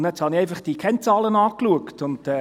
Ich habe einfach diese Kennzahlen angeschaut.